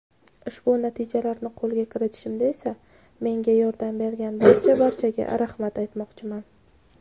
Ushbu natijalarni qo‘lga kiritishimda esa menga yordam bergan barcha-barchaga rahmat aytmoqchiman.